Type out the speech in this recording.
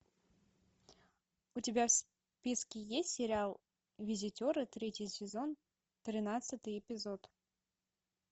у тебя в списке есть сериал визитеры третий сезон тринадцатый эпизод